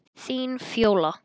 Þín, Fjóla.